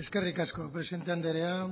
eskerrik asko presidente andrea